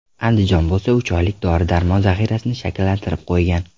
Andijon bo‘lsa uch oylik dori-darmon zaxirasini shakllantirib qo‘ygan .